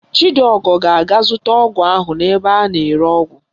Chidiọgọ ga-aga zụta ọgwụ ahụ ebe a na-ere ọgwụ